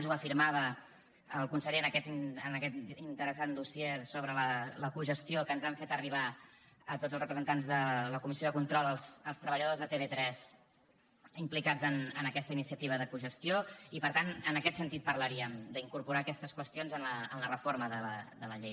ho afirmava el conseller en aquest interessant dossier sobre la cogestió que ens han fet arribar a tots els representants de la comissió de control als treballadors de tv3 implicats en aquesta iniciativa de cogestió i per tant en aquest sentit parlaríem d’incorporar aquestes qüestions en la reforma de la llei